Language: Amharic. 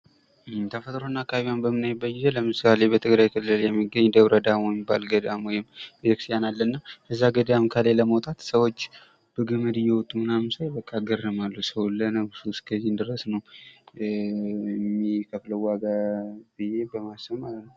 ተፈጥሮና አካባቢዋን በምናይበት ጊዜ ለምሳሌ በትግራይ ክልል የሚገኝ ደብረዳሞ የሚባል ገዳም ወይም ቤተ ክርስቲያን አለና እዛ ገዳም ከላይ ለመውጣት ሰዎች በገመድ እየወጡ ምናምን ሳይ በቃ እገረማለሁ ሰው በቃ ለነፍሱ ከዚህም ድረስ ነው የሚከፍለው ዋጋ ብዬ በማሰብ ማለት ነው ።